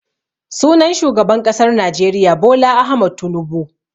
Sunan shugaban ƙasar Najeriya Bola Ahmad Tunubu.